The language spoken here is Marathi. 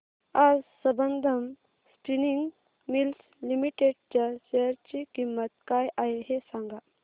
आज संबंधम स्पिनिंग मिल्स लिमिटेड च्या शेअर ची किंमत काय आहे हे सांगा